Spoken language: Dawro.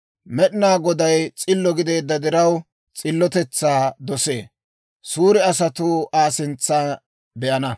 Med'inaa Goday s'illo gideedda diraw, s'illotetsaa dosee. Suure asatuu Aa sintsa be'ana.